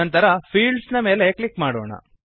ನಂತರ ಫೀಲ್ಡ್ಸ್ ನ ಮೇಲೆ ಕ್ಲಿಕ್ ಮಾಡೋಣ